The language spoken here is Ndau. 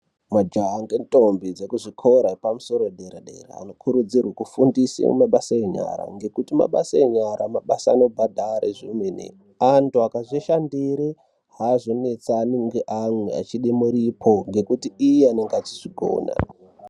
Majaha ngendombi ekuzvikora epamusoro yedera-dera, vanokurudzirwe kufundisa mabasa enyara. Ngekuti mabasa enyara mabasa anobhadhare zvemene. Antu akazvishandire hazonetsani neamwe achide muripo nekuti iye anonga echizvigona.